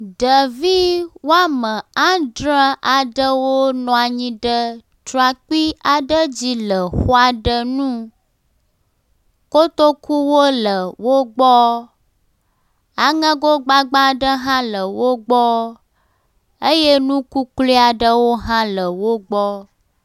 Ɖevi woame adre aɖewo nɔ anyi ɖe trakpui aɖe dzi le xɔ aɖe nu. Kotokuwo le wo gbɔ, aŋego gbagba aɖe hã le wo gbɔ eye nu kuklui aɖewo hã le wo gbɔ.